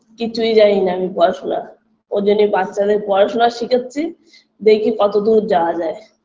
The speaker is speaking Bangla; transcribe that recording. কিছুই জানিনা আমি পড়াশুনা ওজন্যে বাচ্চাদের পড়াশোনা শেখাচ্ছি দেখি কতদূর যাওয়া যায়